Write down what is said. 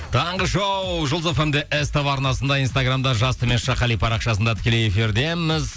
таңғы шоу жұлдыз фм де ств арнасында инстаграмда жас қали парақшасында тікелей эфирдеміз